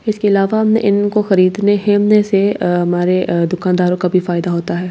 इसके अलावा हमने इनको खरीदने से अ हमारे अ दुकानदारों का भी फायदा होता है।